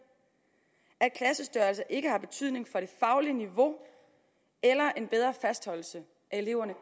at klassestørrelser ikke har betydning for det faglige niveau eller en bedre fastholdelse af eleverne